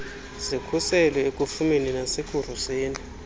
zikhuselwe ekufumeni nasekuruseni